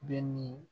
Bɛ ni